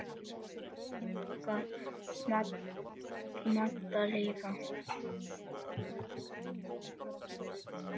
Megi minning Dadda lifa.